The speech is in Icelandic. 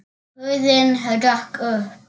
Hurðin hrökk upp!